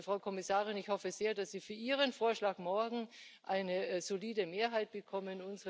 Also, Frau Kommissarin, ich hoffe sehr, dass Sie für Ihren Vorschlag morgen eine solide Mehrheit bekommen.